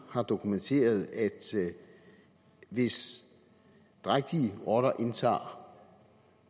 har dokumenteret at hvis drægtige rotter indtager